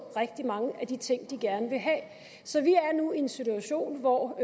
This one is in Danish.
rigtig mange af de ting de gerne vil have så vi er nu i en situation hvor